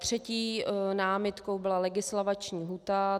Třetí námitkou byla legisvakanční lhůta.